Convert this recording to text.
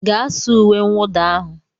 Gaa saa uwe mwụda ahụ